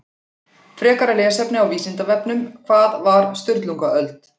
Frekara lesefni á Vísindavefnum Hvað var Sturlungaöld?